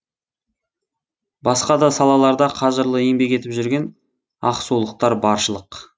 басқа да салаларда қажырлы еңбек етіп жүрген ақсулықтар баршылық